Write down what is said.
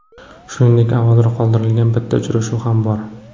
Shuningdek, avvalroq qoldirilgan bitta uchrashuv ham bor.